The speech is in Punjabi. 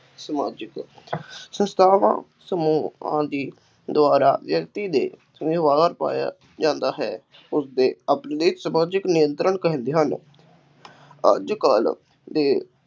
ਸਮਾਜਿਕ ਸੰਸਥਾਵਾਂ ਸਮੂਹ ਆਦਿ ਦੁਆਰਾ ਵਿਅਕਤੀ ਦੇ ਦਬਾਅ ਪਾਇਆ ਜਾਂਦਾ ਹੈ ਉਸਦੇ ਸਮਾਜਿਕ ਨਿਯੰਤਰਣ ਕਹਿੰਦੇ ਹਨ ਅੱਜ ਕੱਲ੍ਹ ਦੇ